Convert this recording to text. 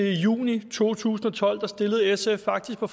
juni to tusind og tolv stillede sf faktisk på